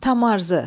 Tamarzı.